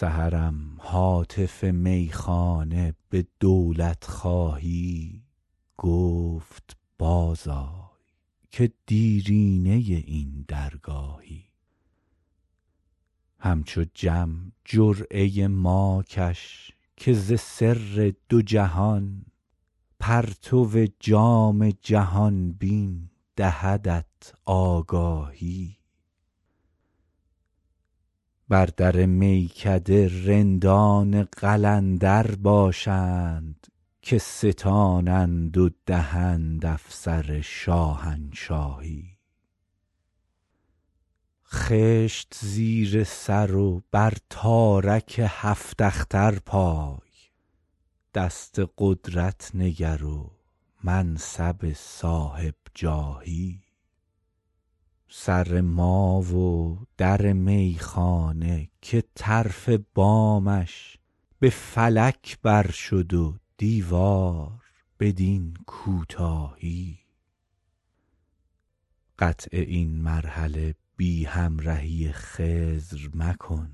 سحرم هاتف میخانه به دولت خواهی گفت باز آی که دیرینه این درگاهی همچو جم جرعه ما کش که ز سر دو جهان پرتو جام جهان بین دهدت آگاهی بر در میکده رندان قلندر باشند که ستانند و دهند افسر شاهنشاهی خشت زیر سر و بر تارک هفت اختر پای دست قدرت نگر و منصب صاحب جاهی سر ما و در میخانه که طرف بامش به فلک بر شد و دیوار بدین کوتاهی قطع این مرحله بی همرهی خضر مکن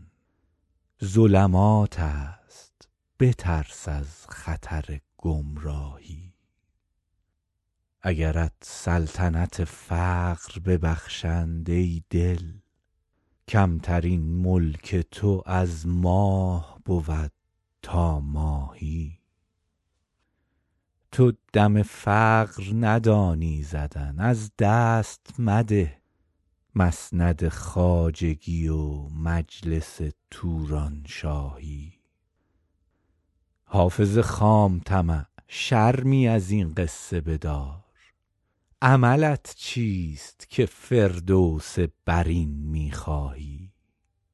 ظلمات است بترس از خطر گمراهی اگرت سلطنت فقر ببخشند ای دل کمترین ملک تو از ماه بود تا ماهی تو دم فقر ندانی زدن از دست مده مسند خواجگی و مجلس تورانشاهی حافظ خام طمع شرمی از این قصه بدار عملت چیست که فردوس برین می خواهی